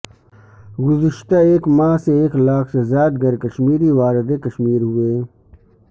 گزشتہ ایک ماہ سے ایک لاکھ سے زائد غیر کشمیری وارد کشمیر ہوئے